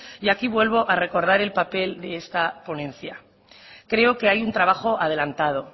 y aquí vuelvo a recordar el papel de esta ponencia creo que hay un trabajo adelantado